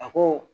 A ko